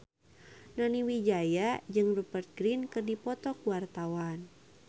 Nani Wijaya jeung Rupert Grin keur dipoto ku wartawan